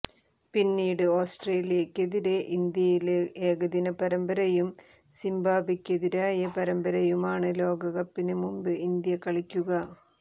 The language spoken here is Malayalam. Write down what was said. പിന്നീട് ഓസ്ട്രേലിയക്കെതിരെ ഇന്ത്യയില് ഏകദിന പരമ്പരയും സിംബാബ്വെക്കെതിരായ പരമ്പരയുമാണ് ലോകകപ്പിന് മുമ്പ് ഇന്ത്യ കളിക്കുക